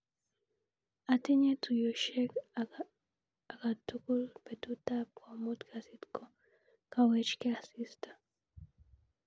Atinye tuiyoshek akatukul betutap komut kasit kokawechke asista.